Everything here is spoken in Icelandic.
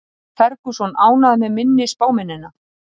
Ferguson ánægður með minni spámennina